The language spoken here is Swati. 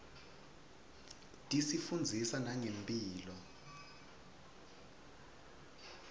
tisifundzisa nangemphilo